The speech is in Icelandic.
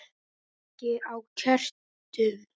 Kveiki á kertum.